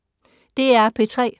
DR P3